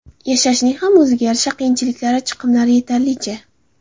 Yashashning ham o‘ziga yarasha qiyinchiliklari, chiqimlari yetarlicha.